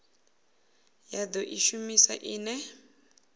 ya do i shumisa ine